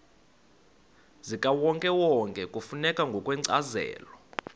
zikawonkewonke kufuneka ngokwencazelo